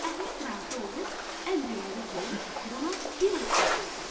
Əhməd razı olub, əmr elədi ki, ona bir at gətirsinlər.